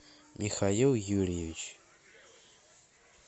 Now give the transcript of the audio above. михаил юрьевич